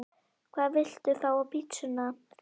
Hvað vilt þú fá á pizzuna þína?